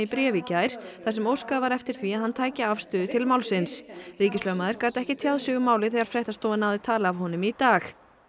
bréf í gær þar sem óskað var eftir því að hann tæki afstöðu til málsins ríkislögmaður gat ekki tjáð sig um málið þegar fréttastofa náði tali af honum í dag